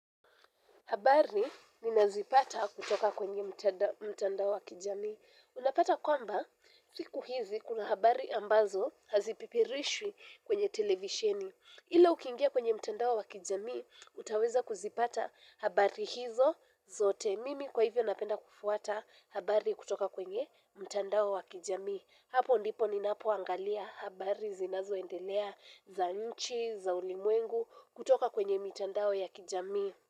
Habari ninazipata kutoka kwenye mtandao wa kijamii. Unapata kwamba, siku hizi kuna habari ambazo hazipipirishwi kwenye televisheni. Ila ukingia kwenye mtandao wa kijamii, utaweza kuzipata habari hizo zote. Mimi kwa hivyo napenda kufuata habari kutoka kwenye mtandao wa kijami. Hapo ndipo ninapoangalia habari zinazoendelea za nchi, za ulimwengu kutoka kwenye mitandao ya kijamii.